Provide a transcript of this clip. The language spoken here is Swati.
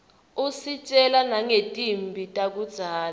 usitjela nangetimphi takudzala